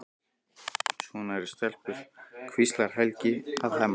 Svona eru stelpur, hvíslar Helgi að Hemma.